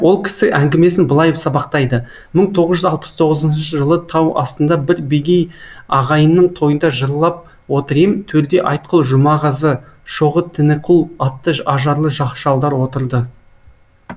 ол кісі әңгімесін былай сабақтайды мың тоғыз жүз алпыс тоғызыншы жылы тау астында бір бегей ағайынның тойында жырлап отыр ем төрде айтқұл жұмағазы шоғы тініқұл атты ажарлы шалдар отырды